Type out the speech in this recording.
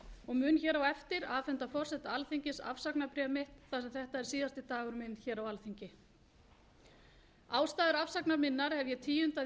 og mun á eftir afhenda forseta alþingis afsagnarbréf mitt þar sem þetta er síðasti dagur minn á alþingi ástæður afsagnar minnar hef ég tíundað í